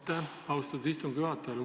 Aitäh, austatud istungi juhataja!